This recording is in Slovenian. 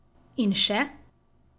In še.